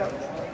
belə yap.